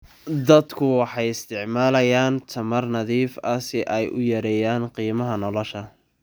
Dadku waxay isticmaalayaan tamar nadiif ah si ay u yareeyaan qiimaha nolosha.